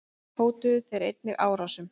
Hótuðu þeir einnig árásum.